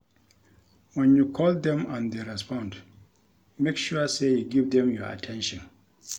When you call them and they respond make sure say you give them your at ten tion